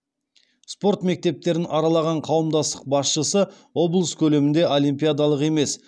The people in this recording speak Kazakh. спорт мектептерін аралаған қауымдастық басшысы облыс көлемінде олимпиадалық емес